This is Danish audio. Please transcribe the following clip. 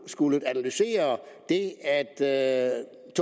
skullet analysere det at er